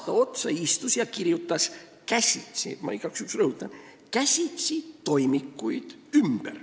Ta istus aasta otsa ja kirjutas käsitsi – ma igaks juhuks rõhutan, et käsitsi – toimikuid ümber.